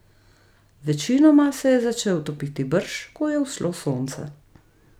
Večinoma se je začel topiti brž, ko je vzšlo sonce.